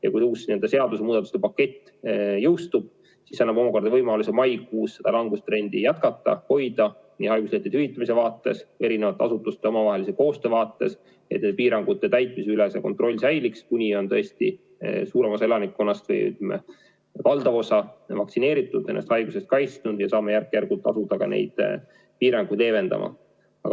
Ja kui uus seadusemuudatuste pakett jõustub, siis annab see omakorda võimaluse maikuus langustrendi jätkata, hoida seda nii haiguslehtede hüvitamise vaates kui ka eri asutuste omavahelise koostöö vaates, et piirangute täitmise kontroll säiliks, kuni on tõesti suurem osa elanikkonnast, ütleme, valdav osa vaktsineeritud, haiguse eest kaitstud ja saame järk-järgult asuda piiranguid leevendama.